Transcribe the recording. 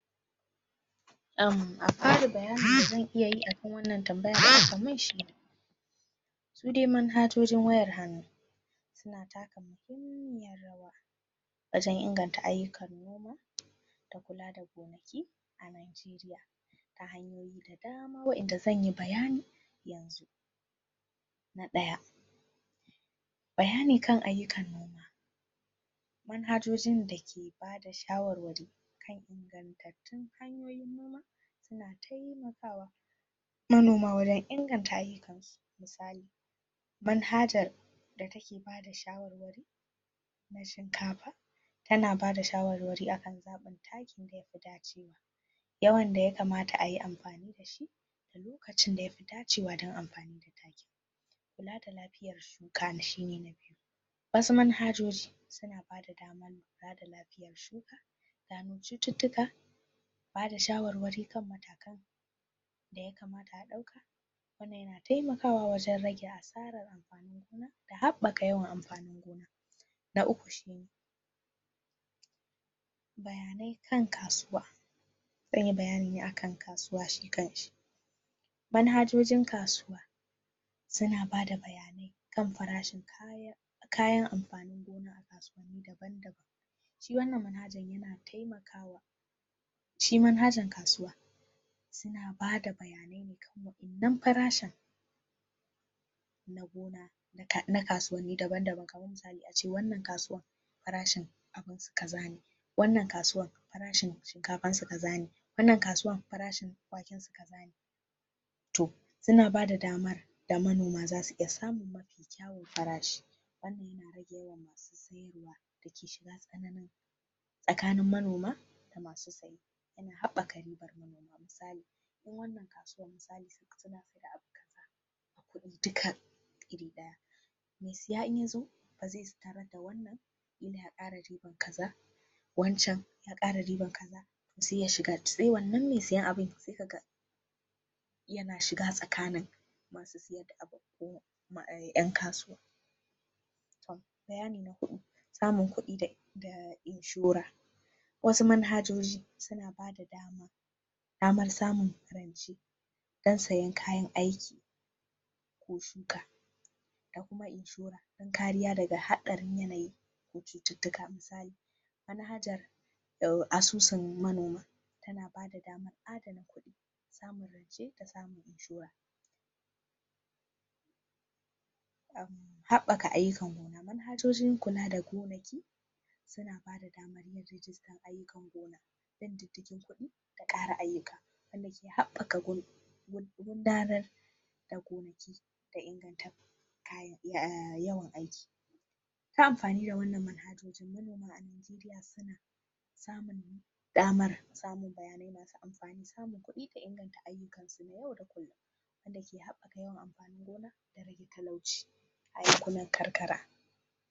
A farin bayani da zan iya akan wannan tambaya da aka mun shine su de manhajojin wayar hannu suna taka muhimmiyar rawa wajan inganta ayyukan noma da kula da gonaki a najeriya ta hanyoyi da dama wayanda zanyi bayani yanzu na ɗaya bayani kan ayyukan noma manhajojin dake bada shawarwari kan ingantatun hanyoyin noma suna taimakawa manoma wajan inganta ayyukansu misali manhajjan da take bada shawarwari na shinkafa tana bada shawarwari akan zaɓin takin da yafi dacewa yawan da ya kamata ayi amfani dashi da lokacin da yafi dacewa dan amfani da takin kula da lafiyar shuka shine na biyu wasu manhajoji suna bada damar kula da lafiyar shuka gano cuttutuka, bada shawarwari kan matakai daya kamata a ɗauka, wannan yana taimakawa wajan rage asarar amfanin gona da haɓaka yawan amfanin gona na uku shine bayanai kan kasuwa zanyi bayani ne akan kasuwa shi kanshi manhajojin kasuwa suna bada bayanai kan farashin kayan amfanin gona a kasuwanni daban-daban shi wannan manhajan yana taimakawa shi manhajar kasuwa sun bada bayanai ne kan wayanan farashin na gona na kasuwanni daba-daban kamar misali ace wannan kasuwan farashin abunsu kazane, wannan kasuwan farashin shinkafansu kaza ne, wannan kasuwar farashin wakensu kaza ne toh su na bada damar da manoma zasu iya samun mafi kyawun farashi wannan yana rage yawan masu siyarwa dake shiga tsananin tsakanin manoma da masu siya yana haɓakar ribar manoma misali in wannan kasuwar misali suna siyar da abu kaza a kuɗi duka iri ɗaya me siya indan yazo baze tarar da wannan ya kara riban kaza, wancan ya kara riban kaza se ya shiga, se wannan me siyan abun, se ka ga yana shiga tsakanin ma su siyar da abubuwan yan kasuwa toh bayani na huɗu samun kuɗi da inshora wasu manhajoji suna ba da daman damar samun rance dan siyan kayan aiki ko shuka da kuma inshora dan kariya daga haɗarin yanayi ko cuttutuka, misali manhajar asusun manoma ta na bada daman addana kuɗi samun rance da samun inshora habaka ayyukan gona, manhajojin kula da gonaki suna bada daman yin rajistan aikin gona bin didigin kuɗi da ƙara ayyuka wanda ke haɓaka gudanar da gonaki da inganta yawan aiki ta amfani da wannan manhajojin manoma a najeriya suna samun damar, samun bayanai masu amfani samun kuɗi da inganta ayyukansu na yau da kulum, wanda ke habaka yawan amfanin gona da rage talauci a yankunan karkara.